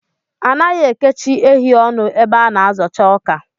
Anaghị ekechi ehi ọnụ ebe a na-azocha ọkà